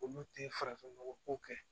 Olu tɛ farafin nɔgɔ ko kɛ